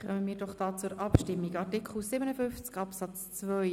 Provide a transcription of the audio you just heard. Somit kommen wir zur Abstimmung über den Artikel 57 Absatz 2.